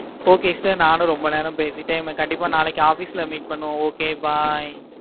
okay sir நானும் ரொம்பே நேரம் பேசிட்டேன். நாளைக்கு office ல meet பண்ணுவோம். okay bye